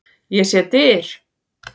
Ég sé dyr.